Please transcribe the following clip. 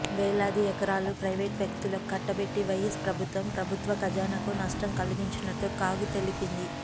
వేలాది ఎకరాలు ప్రైవేట్ వ్యక్తులకు కట్టబెట్టి వైయస్ ప్రభుత్వం ప్రభుత్వ ఖజానాకు నష్టం కలిగించినట్లు కాగ్ తెలిపింది